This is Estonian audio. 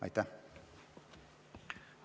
Aitäh!